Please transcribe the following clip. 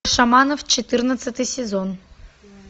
шаманов четырнадцатый сезон